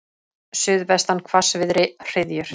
Suðvestan hvassviðri, hryðjur.